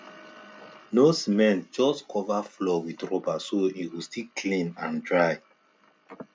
no cement just cover floor with rubber so e go still clean and dry